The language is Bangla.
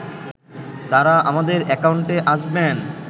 তারা আমাদের অ্যাকাউন্টে আসবেন